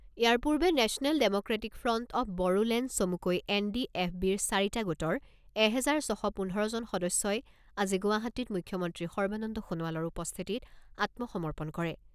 ইয়াৰ পূৰ্বে national democratic front of Bodoland চমুকৈ এনডিএফবিৰ চাৰিটা গোটৰ এহেজাৰ ছশ পোন্ধৰজন সদস্যই আজি গুৱাহাটীত মুখ্যমন্ত্ৰী সৰ্বানন্দ সোণোৱালৰ উপস্থিতিত আত্মসমৰ্পণ কৰে।